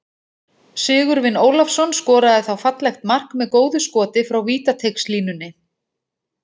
Sigurvin Ólafsson skoraði þá fallegt mark með góðu skoti frá vítateigslínunni.